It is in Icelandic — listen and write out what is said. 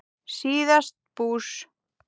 síðast bús.